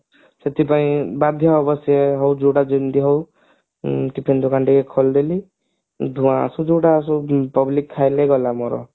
ସେଥିପାଇଁ ବାଧ୍ୟ ହବ ସେ ହଉ ଯୋଉଟା ଯେମତି ହଉ chicken ଦୋକାନ ଟିକେ ଖୋଲିଦେଲି ଧୂଆଁ ଆସୁ ଯୋଉଟା ଆସୁ public ଖାଇଲେ ଗଲା ମୋର